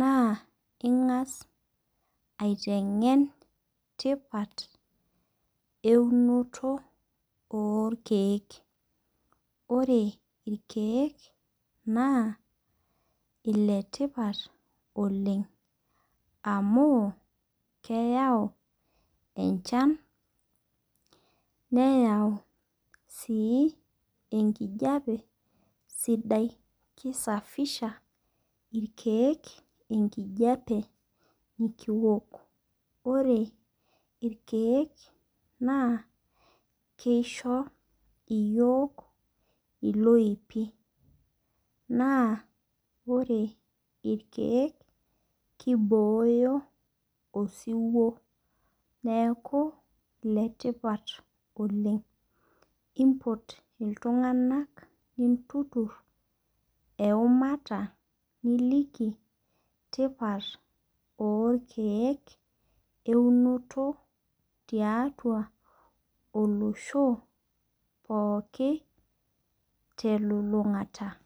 naa ing'as aiteng'en tipat eunoto orkeek. Ore irkeek naa iletipat oleng. Amu, keyau enchan, neyau si enkijape sidai. Ki safisha irkeek enkijape nikiwok. Ore irkeek naa kisho iyiok iloipi. Naa ore irkeek kibooyo osiwuo. Neeku iletipat oleng. Impot iltung'anak nintutur eumata niliki tipat orkeek eunoto tiatua olosho pooki telulung'ata.